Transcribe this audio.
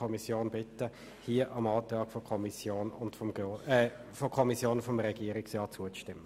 Deshalb bitte ich Sie im Namen der Kommission, dem Antrag von Kommission und Regierungsrat zuzustimmen.